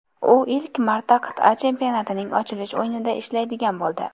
U ilk marta qit’a chempionatining ochilish o‘yinida ishlaydigan bo‘ldi.